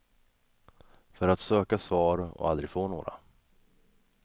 För att söka svar, och aldrig få några.